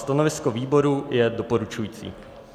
Stanovisko výboru je doporučující.